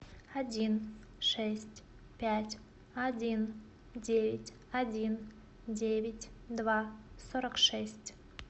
один шесть пять один девять один девять два сорок шесть